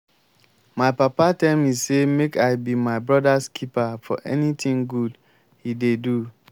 my papa tell me say make i be my brother's keeper for anything good he dey do